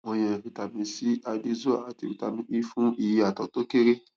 wọn yàn vitamin c addyzoa àti vitamin e fún iye àtọ tó kéré